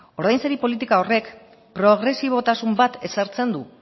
ordainsari politika horrek progresibotasun bat ezartzen du